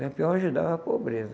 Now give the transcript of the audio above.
Lampião ajudava a pobreza.